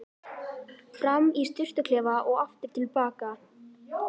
Fram í sturtuklefa og aftur til baka.